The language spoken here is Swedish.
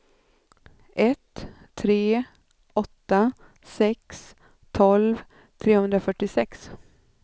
ett tre åtta sex tolv trehundrafyrtiosex